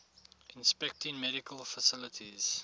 inspecting medical facilities